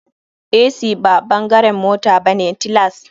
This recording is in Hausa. Ac ba bangaren mota bane tilas.